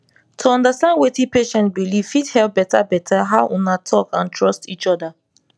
to understand wetin patient believe fit help better better how una talk and trust each other